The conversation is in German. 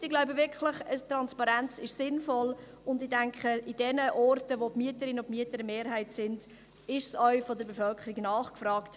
Fazit: Ich glaube wirklich, dass eine Transparenz sinnvoll ist, und ich denke an den Orten, wo die Mieter und Mieterinnen eine Mehrheit sind, wird sie von der Bevölkerung nachgefragt.